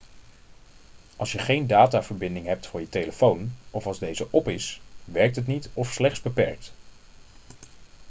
als je geen dataverbinding hebt voor je telefoon of als deze op is werkt het niet of slechts beperkt